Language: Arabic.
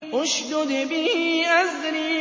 اشْدُدْ بِهِ أَزْرِي